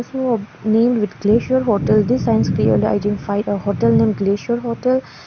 named with glacier hotel this signs clearly identify a hotel name glacier hotel.